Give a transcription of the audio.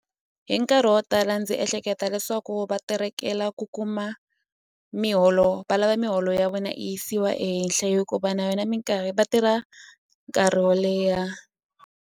Hi nkarhi wo tala ndzi ehleketa leswaku va terekela ku kuma miholo valava miholo ya vona yi yisiwa ehenhle hikuva na yona minkarhi va tirha nkarhi wo leha.